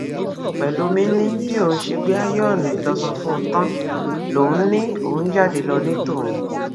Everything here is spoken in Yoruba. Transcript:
pẹlọmì ni bí òun ṣe gbé ààyòónú ìlọsọ fún un tán lòun ni òun jáde lọ ní tòun